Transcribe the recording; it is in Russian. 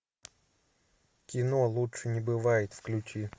кино лучше не бывает включи